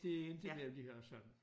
Det endte med at blive Hørsholm